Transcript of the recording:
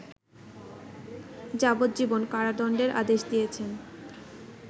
যাবজ্জীবন কারাদন্ডের আদেশ দিয়েছেন